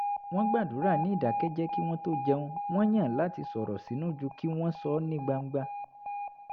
wọ́n gbàdúrà ní ìdákẹ́jẹ́ẹ́ kí wọ́n tó jẹun wọ́n yàn láti sọ̀rọ̀ sínú ju kí wọ́n sọ ọ́ ní gbangba